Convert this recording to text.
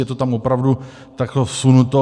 Je to tam opravdu takto vsunuto.